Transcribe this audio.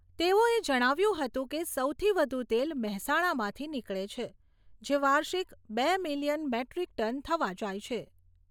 તેઓએ જણાવ્યું હતું કે, સૌથી વધુ તેલ મહેસાણામાંથી નીકળે છે જે વાર્ષિક બે મિલીયન મેટ્રીક ટન થવા જાય છે.